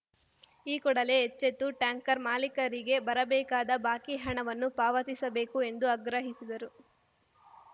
ಈ ಕೂಡಲೇ ಎಚ್ಚೆತ್ತು ಟ್ಯಾಂಕರ್‌ ಮಾಲೀಕರಿಗೆ ಬರಬೇಕಾದ ಬಾಕಿ ಹಣವನ್ನು ಪಾವತಿಸಬೇಕು ಎಂದು ಆಗ್ರಹಿಸಿದರು